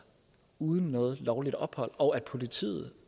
uden noget lovligt ophold og at politiet